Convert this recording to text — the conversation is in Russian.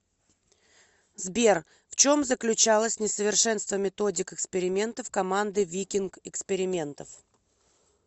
сбер в чем заключалось несовершенство методик экспериментов команды викинг экспериментов